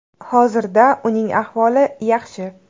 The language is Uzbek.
Hozirda uning ahvoli yaxshi.